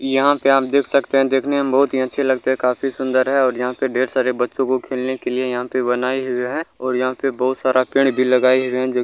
यहाँ पे आप देख सकते है देखने में बहुत अच्छे लगते है काफी सुंदर है यहाँ पे ढेर सारे बच्चो को खेलने के लिए यहाँ पे बनाई हुए हैं और यहाँ पे बहुत सारा पेड़ भी लगाया हुआ है।